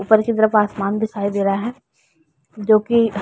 ऊपर की तरफ असमान दिखाई दे रहा है। जो कि --